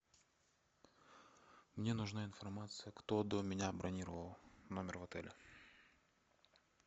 мне нужна информация кто до меня бронировал номер в отеле